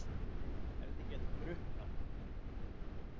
Hefði getað drukknað.